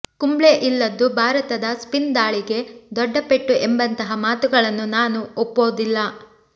ಕುಂಬ್ಳೆ ಇಲ್ಲದ್ದು ಭಾರತದ ಸ್ಪಿನ್ ದಾಳಿಗೆ ದೊಡ್ಡ ಪೆಟ್ಟು ಎಂಬಂತಹ ಮಾತುಗಳನ್ನು ನಾನು ಒಪ್ಪೋದಿಲ್ಲ